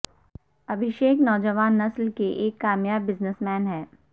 ابھشیک نوجوان نسل کے ایک کامیاب بزنس مین ہیں